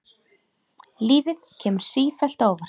Lífið kemur sífellt á óvart.